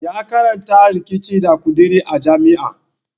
Ya karanta riƙici da ƙuduri a jami'a.